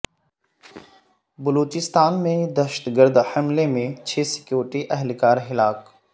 بلوچستان میں دہشت گرد حملے میں چھ سیکیورٹی اہل کار ہلاک